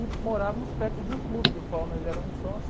E morávamos perto de um clube, do qual nós éramos sócios.